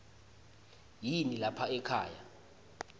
yini lapha ekhaya